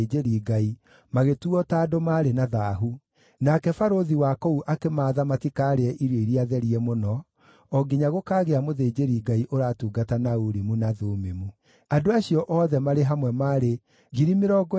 Nao atongoria amwe a nyũmba nĩmaheanire indo nĩ ũndũ wa wĩra ũcio, durakima 20,000 cia thahabu, na ratiri 2,200 cia betha, nacio ikĩigwo kĩgĩĩna-inĩ.